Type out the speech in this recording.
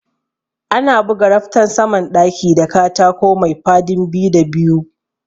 Ana buga raftan saman ɗaki da katako maifadin biyu da biyu